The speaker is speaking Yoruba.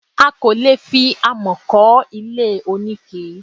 A kò lè fi amọ̀ kọ́ ilé oníke